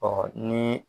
Ɔ ni